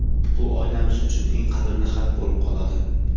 Bu oilamiz uchun eng qadrli xat bo‘lib qoladi.